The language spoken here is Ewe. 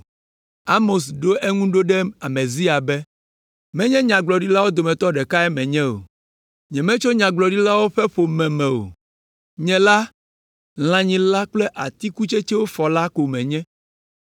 Amos ɖo eŋu ɖo ɖe Amazia be, “Menye nyagblɔɖilawo dometɔ ɖekae menye o. Nyemetso nyagblɔɖilawo ƒe ƒome me o. Nye la, lãnyila kple atikutsetsewo fɔla ko menye,